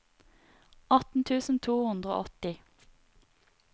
atten tusen to hundre og åtti